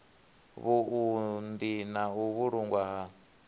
vhuunḓi na u vhulungwa ha